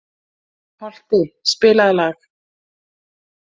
Holti, spilaðu lag.